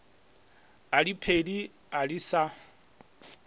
a diphedi a se sa